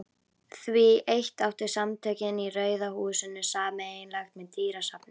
Því eitt áttu Samtökin í Rauða húsinu sameiginlegt með dýrasafni